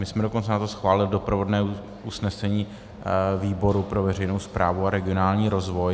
My jsme dokonce na to schválili doprovodné usnesení výboru pro veřejnou správu a regionální rozvoj.